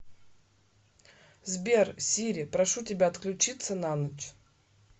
сбер сири прошу тебя отключиться на ночь